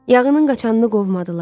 Yağının qaçanını qovmadılar.